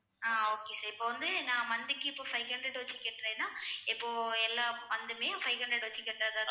ஆஹ் okay sir இப்ப வந்து நான் monthly க்கு இப்ப five hundred வச்சு கட்டறேன்னா இப்போ எல்லா month உமே five hundred வெச்சு கட்டறதாதான்